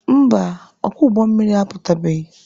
Mba, ọkwọ ụgbọ mmiri apụtabeghị.